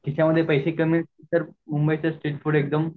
खिशामध्ये पैसे कमी असतील तर मुंबईचे स्ट्रीट फूड एकदम